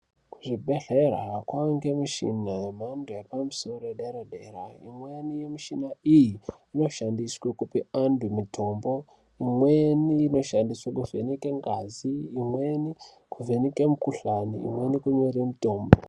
Kuzvibhehlera kwawanda muchini yemhando yepamusoro yepadera dera imweni yemushina iyi inoshandiswa kupa antu mutombo imweni inoshandiswa kuvheneka ngazi imweni kuvheneka mukuhlani imweni kunyora mutombo.